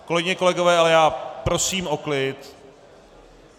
Kolegyně, kolegové, ale já prosím o klid.